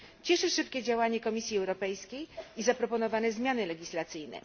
Cieszy szybkie działanie Komisji Europejskiej i zaproponowane zmiany legislacyjne.